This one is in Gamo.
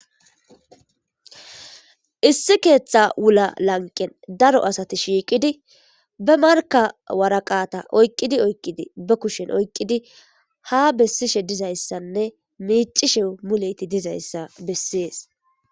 issi keeththa wula lanqen daro asati shiiqidi ba marka waraqata oyqqidi oykqidi ba kushen oyqqidi ha bessishe dizayssanne miicishe muleyti dizayssa bessees